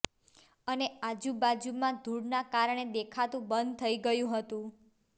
અને આજુબાજુમાં ધૂળના કારણે દેખાતું બંધ થઇ ગયું હતું